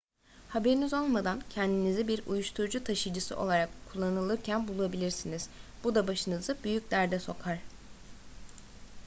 haberiniz olmadan kendinizi bir uyuşturucu taşıyıcısı olarak kullanılırken bulabilirsiniz bu da başınızı büyük derde sokar